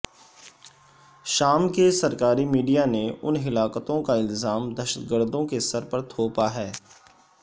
شام کے سرکاری میڈیا نے ان ہلاکتوں کاالزام دہشت گردوں کے سرتھونپا ہے